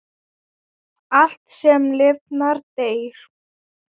Allt, sem lifnar, deyr.